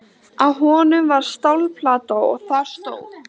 Á honum var stálplata og þar stóð